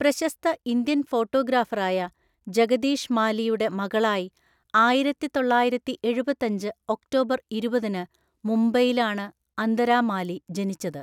പ്രശസ്ത ഇന്ത്യൻ ഫോട്ടോഗ്രാഫറായ ജഗദീഷ് മാലിയുടെ മകളായി ആയിരത്തിതൊള്ളായിരത്തിഎഴുപത്തഞ്ച് ഒക്ടോബർ ഇരുപതിന് മുംബൈയിലാണ് അന്തരാ മാലി ജനിച്ചത്.